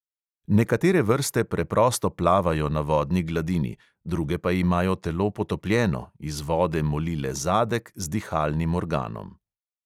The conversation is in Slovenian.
Nekatere vrste preprosto plavajo na vodni gladini, druge pa imajo telo potopljeno, iz vode moli le zadek z dihalnim organom.